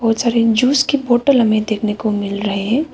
सारे जूस की बॉटल हमें देखने को मिल रहे हैं।